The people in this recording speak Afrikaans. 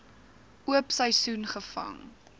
oop seisoen gevang